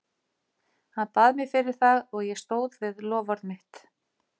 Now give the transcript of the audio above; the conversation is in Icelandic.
Hann bað mig fyrir það og ég stóð við loforð mitt.